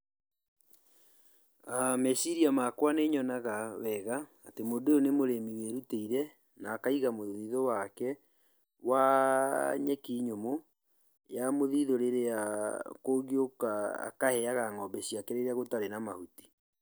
Meciria makwa nĩ nyonaga wega atĩ mũndũ ũyũ nĩ mũrĩmi wĩrutĩire na akaiga mũthithũ wake wa nyeki nyũmũ, ya mũthithũ rĩrĩa kũngĩũka akaheaga ng'ombe ciake rĩrĩa gũtarĩ na mahuti.